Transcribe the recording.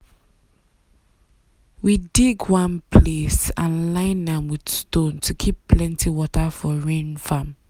we dig one place and line am with stone to keep plenty rainwater for farm.